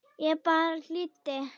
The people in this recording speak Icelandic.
Ég bara hlýddi!